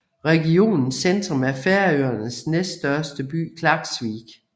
Regionens centrum er Færøernes næststørste by Klaksvík